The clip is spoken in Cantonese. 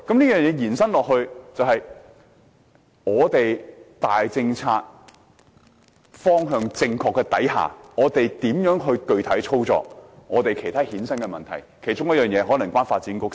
延伸下來，是在大政策方向正確下，如何具體操作其他衍生的問題，其中一個問題可能與發展局有關。